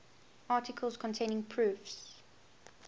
articles containing proofs